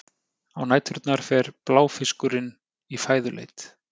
Á næturnar fer bláfiskurinn í fæðuleit.